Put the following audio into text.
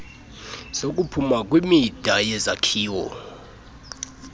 zokuphuma kwimida yezakhiwo